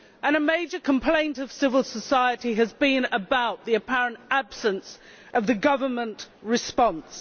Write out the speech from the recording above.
A major complaint of civil society has been about the apparent absence of the government response.